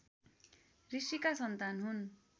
ऋषिका सन्तान हुन्